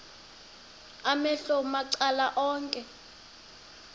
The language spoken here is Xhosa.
amehlo macala onke